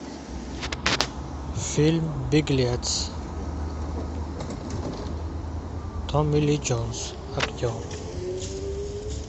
фильм беглец томми ли джонс актер